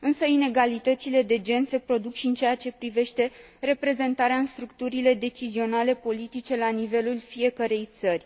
Inegalitățile de gen se produc și în ceea ce privește reprezentarea în structurile decizionale politice la nivelul fiecărei țări.